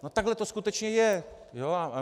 No takhle to skutečně je.